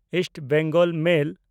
East Bengal ᱢᱮᱞ